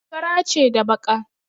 Fara ce da baƙa.